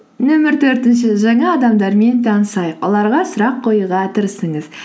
нөмір төртінші жаңа адамдармен танысайық оларға сұрақ қоюға тырысыңыз